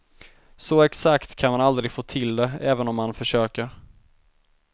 Så exakt kan man aldrig få till det även om man försöker.